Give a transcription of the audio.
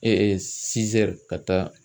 ka taa.